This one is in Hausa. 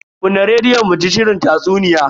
Kunna rediyon muji shirin tatsuniya.